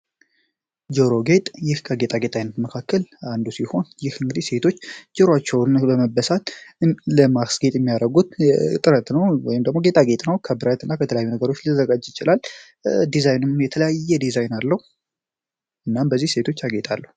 ጆሮ ጌጥ ይህ ከጌጣ ጌጣ አይነት መካከል አንዱ ሲሆን ይህ እንግዲህ ሴቶች ጆሮአቸውን በመበሳት ለማክስጌጥ የሚያረጉት ጥረት ነው ወይም ደሞ ጌጣ ጌጥ ነው ከብረት እና ከተለያዩ ነገሮች ሊተዘጋጅ ይችላል ዲዛይንም የተለያየ ዲዛይን አለው እናም በዚህ ሴቶች ያጌጣሉ።